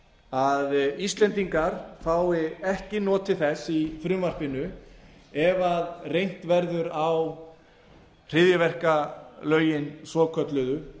að íslendingar fái ekki notið þess í frumvarpinu ef reynt verður á hryðjuverkalögin svokölluðu